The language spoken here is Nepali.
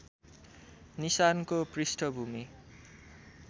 निशानको पृष्ठभूमि